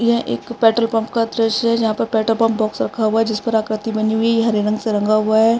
यह एक petrol pump का दृश्य है जहाँ पर पेट्रोल पंप बॉक्स रखा हुआ है जिस पर आकृति बनी हुई है ये हरे रंग से रंगा हुआ है।